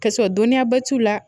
Ka sɔrɔ dɔnniyaba t'u la